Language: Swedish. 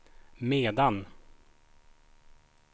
medan